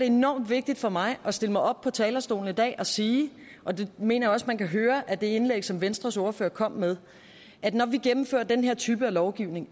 enormt vigtigt for mig at stille mig op på talerstolen i dag og sige og det mener jeg også man kan høre af det indlæg som venstres ordfører kom med at når vi gennemfører den her type af lovgivning